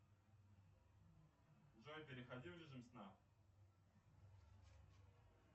джой переходи в режим сна